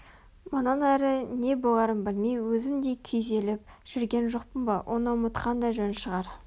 мұнан әрі не боларын білмей өзім де күйзеліп жүрген жоқпын ба оны ұмытқан да жөн шығар